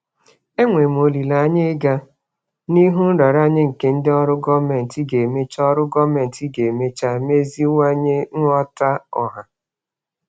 Enwere m olileanya ịga n'ihu nraranye nke ndị ọrụ gọọmentị ga-emecha ọrụ gọọmentị ga-emecha meziwanye nghọta ọha.